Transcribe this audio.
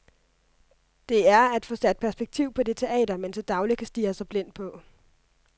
Det er at få sat perspektiv på det teater, man til daglig kan stirre sig blind på.